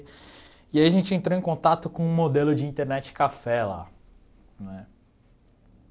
E aí a gente entrou em contato com um modelo de internet café lá né.